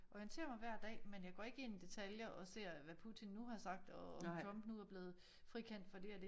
Orienterer mig hver dag men jeg går ikke ind i detaljer og ser hvad Putin nu har sagt og om Trump nu er blevet frikendt for dét og dét